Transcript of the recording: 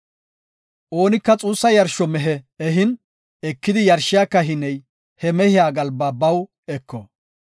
Oonika xuussa yarsho mehe ehin ekidi yarshiya kahiney he mehiya galba baw eko.